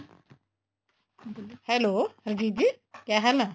ਬੋਲੋ hello ਹਰਜੀਤ ਜੀ ਕਿਆ ਹਾਲ ਹੈ